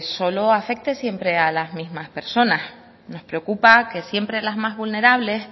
solo afecte siempre a las mismas personas nos preocupa que siempre las más vulnerables